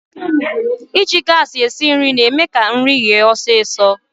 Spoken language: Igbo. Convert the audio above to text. Iji gaasi esi nri na-eme ka nri yee ọsịsọ.